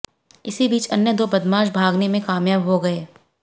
इसी बीच अन्य दो बदमाश भागने में कामयाब हो गये